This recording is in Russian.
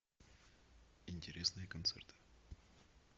интересные концерты